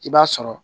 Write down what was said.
I b'a sɔrɔ